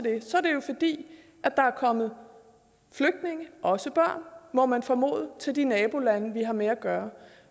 er der er kommet flygtninge også børn må man formode til de nabolande vi har med at gøre